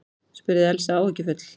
spurði Elsa áhyggjufull.